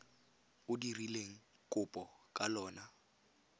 o dirileng kopo ka lona